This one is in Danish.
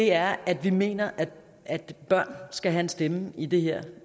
er at vi mener at børn skal have en stemme i det her